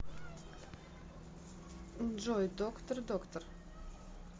джой доктор доктор